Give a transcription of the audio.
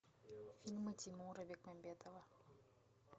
фильмы тимура бекмамбетова